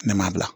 Ne ma bila